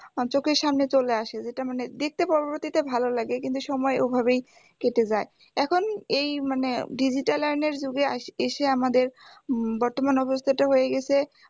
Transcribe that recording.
চোখের সামনে চলে আসে যেটা মানে দেখতে পরবর্তীতে ভালো লাগে কিন্তু সময়ের ওভাবেই কেটে যায় এখন এই মানে digital যুগে এসে আমাদের উম বর্তমান অবস্থাটা হয়ে গেছে